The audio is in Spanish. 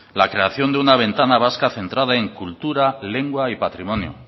la creación de una ventana vasca centrada en cultura lengua y patrimonio